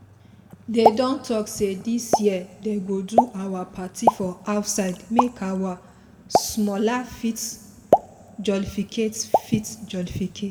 they don talk say this year they go do our party for outside make our smalla fit jolificate fit jolificate